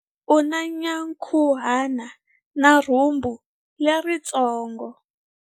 U na nyankhuhana na rhumbu leritsongo.